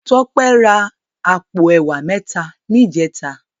Tope rá àpó èwá mètá nijètá